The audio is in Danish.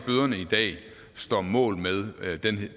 bøderne i dag står mål med